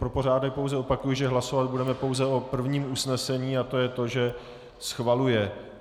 Pro pořádek pouze opakuji, že hlasovat budeme pouze o prvním usnesení, a to je to, že schvaluje.